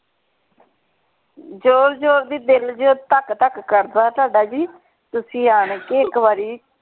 ਜ਼ੋਰ ਜ਼ੋਰ ਦੀ ਦਿਲ ਜਦੋਂ ਧੱਕ ਧੱਕ ਕਰਦਾ ਤੁਹਾਡਾ ਜੀ ਤੁਸੀ ਆਣ ਕੇ ਇਕ ਬਾਰੀ।